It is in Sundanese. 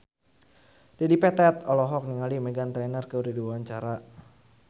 Dedi Petet olohok ningali Meghan Trainor keur diwawancara